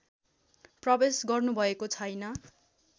प्रवेश गर्नुभएको छैन